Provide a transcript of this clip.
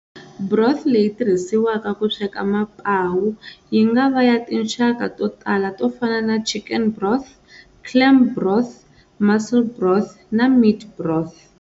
Broth leyi tirhisiwaka ku sweka mapawu yingava ya tinxaka totala tofana na chicken broth, clam broth, mussel broth, na meat broth.